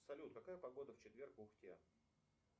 салют какая погода в четверг в ухте